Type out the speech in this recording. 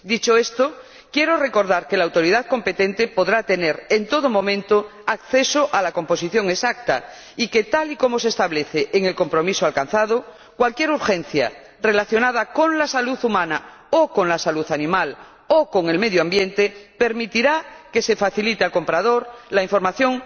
Dicho esto, quiero recordar que la autoridad competente podrá tener, en todo momento, acceso a la composición exacta y que, tal y como se establece en el compromiso alcanzado, cualquier urgencia relacionada con la salud humana o con la salud animal o con el medio ambiente, permitirá que se facilite al comprador la información